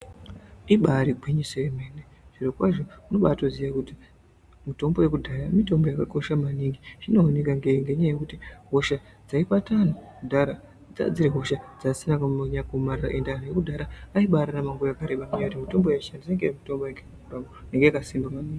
Ibari gwinyiso remene zviro kwazvo tinobaziva kuti mitombo yekudhaya mitombo yakakosha maningi zvinoOneka maningi nekuti hosha dzaibata vantu kudhaya dzanga dziri hosha dzanga dzisina kunyanya kuomarara kwemene ende anhu ekudhaya aibararama nguwa yakareba ngekuti mitombo yavaishandisa yanga iri mitombo yanga yakasinba maningi.